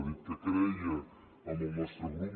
ha dit que creia en el nostre grup